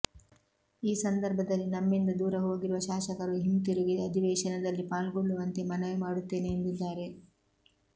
ಈ ಸಂದರ್ಭ ದಲ್ಲಿ ನಮ್ಮಿಂದ ದೂರ ಹೋಗಿರುವ ಶಾಸಕರು ಹಿಂತಿರುಗಿ ಅಧಿವೇಶನ ದಲ್ಲಿ ಪಾಲ್ಗೊಳ್ಳುವಂತೆ ಮನವಿ ಮಾಡುತ್ತೇನೆ ಎಂದಿದ್ದಾರೆ